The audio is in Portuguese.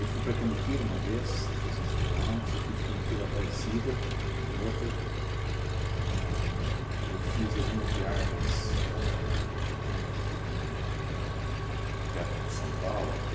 Eu fui para Cambuquira uma vez, trezentos quilômetros, eu fui de Cambuquira a Aparecida, outra, ahn eu fiz algumas viagens ahn pequenas aqui den ahn perto de São Paulo